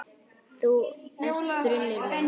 Þú ert brunnur minn.